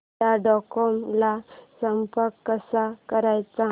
Tata Docomo ला संपर्क कसा करायचा